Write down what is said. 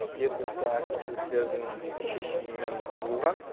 жергілікті әкімшіліктердің шешімімен құрылған